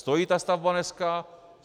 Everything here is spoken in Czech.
Stojí ta stavba dneska?